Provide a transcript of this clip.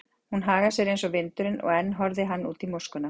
Hún hagar sér eins og vindurinn, og enn horfði hann út í móskuna.